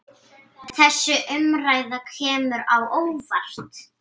Þessi umræða kemur á óvart.